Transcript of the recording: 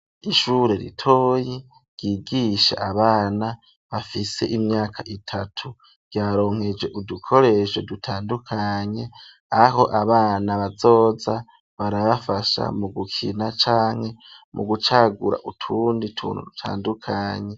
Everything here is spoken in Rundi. Ishure ritoyi ryigisha abana bafise imyaka itatu ,ryaronkeje udukoresho dutandukanye aho abana bazoza barabafasha mu gukina canke mu gucagura utundi tuntu dutandukanye.